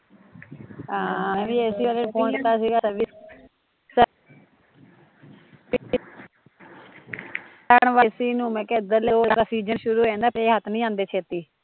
ਸ਼ੁਰੂ ਹੋ ਜਾਂਦਾ ਫੇਰ ਹੱਥ ਨੀ ਆਉਂਦੇ ਛੇਤੀ